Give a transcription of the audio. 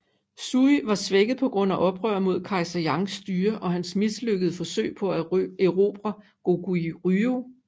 Sui var svækket på grund af oprør mod kejser Yangs styre og hans mislykkede forsøg på at erobre Goguryeo